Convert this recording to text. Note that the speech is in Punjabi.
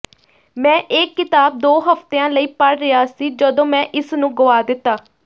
ਮੈਂ ਇਹ ਕਿਤਾਬ ਦੋ ਹਫਤਿਆਂ ਲਈ ਪੜ੍ਹ ਰਿਹਾ ਸੀ ਜਦੋਂ ਮੈਂ ਇਸ ਨੂੰ ਗੁਆ ਦਿੱਤਾ